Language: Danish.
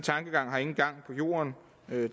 at